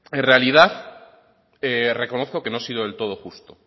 en realidad reconozco que no he sido del todo justo